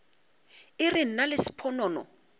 e re nna le sponono